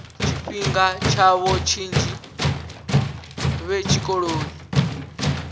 tshifhinga tshavho tshinzhi vhe tshikoloni